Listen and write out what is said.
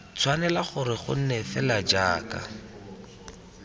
tshwanela gore gonne fela jaaka